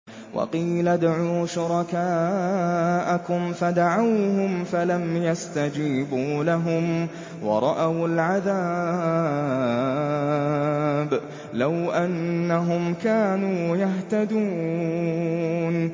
وَقِيلَ ادْعُوا شُرَكَاءَكُمْ فَدَعَوْهُمْ فَلَمْ يَسْتَجِيبُوا لَهُمْ وَرَأَوُا الْعَذَابَ ۚ لَوْ أَنَّهُمْ كَانُوا يَهْتَدُونَ